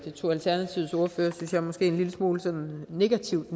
tog alternativets ordfører synes jeg måske en lille smule negativt